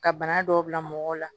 Ka bana dɔw bila mɔgɔw la